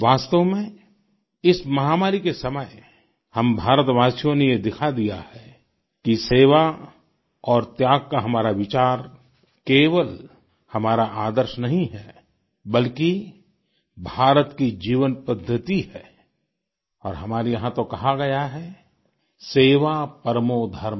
वास्तव में इस माहामारी के समय हम भारतवासियों ने ये दिखा दिया है कि सेवा और त्याग का हमारा विचार केवल हमारा आदर्श नहीं है बल्कि भारत की जीवनपद्धति है और हमारे यहाँ तो कहा गया है सेवा परमो धर्म